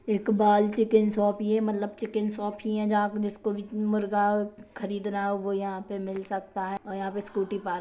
Iqbal chicken shop ये मतलब chicken shop ही है जहाँ जिसको भी मुर्गा खरीदना हो वो यहाँ पे मिल सकता है और यहाँ पे स्कूटी पार्क --